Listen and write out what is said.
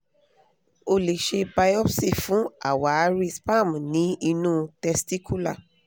o lè ṣe biopsi fún àwáàrí cs] sperm ní inú testicular